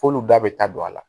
F'olu da bɛ ta don a la